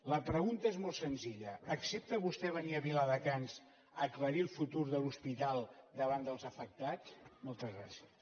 la pregunta és molt senzilla accepta vostè venir a viladecans a aclarir el futur de l’hospital davant dels afectats moltes gràcies